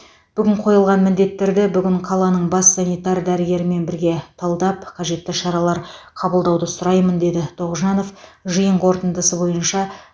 бүгін қойылған міндеттерді бүгін қаланың бас санитар дәрігерімен бірге талдап қажетті шаралар қабылдауды сұраймын деді тоғжанов жиын қорытындысы бойынша